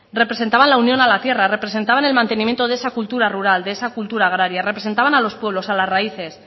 representaban la unión a la tierra representaban el mantenimiento de esa cultura rural de esa cultura agraria representaban a los pueblos a las raíces